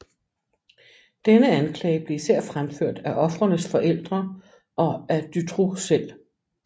Denne anklage blev især fremført af ofrenes forældre og af Dutroux selv